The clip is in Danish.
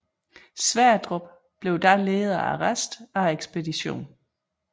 Sverdrup blev da leder af resten af ekspeditionen